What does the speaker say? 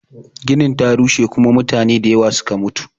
Ginin ta rushe kuma mutane da yawa suke mutu